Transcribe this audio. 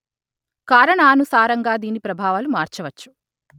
కారణానుసారంగా దీని ప్రభావాలు మార్చవచ్చు